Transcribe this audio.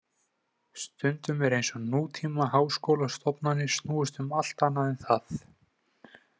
Stundum er eins og nútímaháskólastofnanir snúist um allt annað en það.